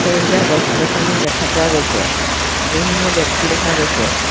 সেউজীয়া গছ গছনি দেখা পোৱা গৈছে বিভিন্ন ব্যক্তি দেখা গৈছে।